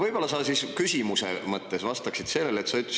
Võib-olla sa ikkagi vastaksid sellele küsimusele.